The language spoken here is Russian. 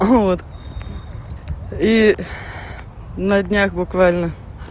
вот и на днях буквально